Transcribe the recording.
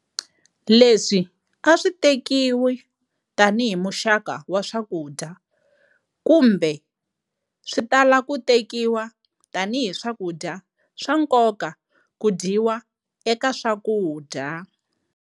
Leswi aswi tekiwi tani hi muxaka wa swakudya kambe switala ku tekiwa tani hi swakudya swa nkoka ku dyiwa eka swakudya.